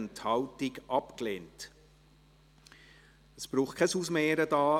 Eventualantrag GSoK-Minderheit Antrag